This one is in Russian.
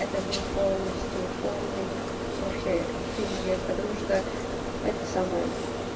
это был полностью полный вообще пиздец потому что это самое